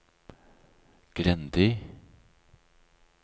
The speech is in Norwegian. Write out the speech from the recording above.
Grendi